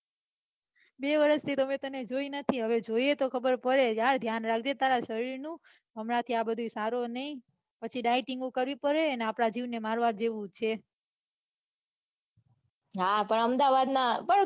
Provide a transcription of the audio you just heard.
બે વરશ થી તને મેં જોઈ નથી હવે જોઈએ તો ખબર પડે કે હાલ ધ્યાન રાખજે તારા શરીર નું પછી dieting કરવી પડે અને આપડા જીવ ને મારવા જેવું છે